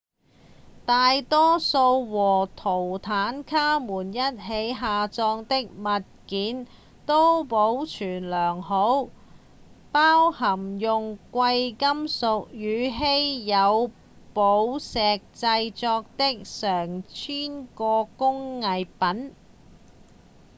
大多數和圖坦卡門一起下葬的物件都保存良好包含用貴金屬與稀有寶石製作的上千個工藝品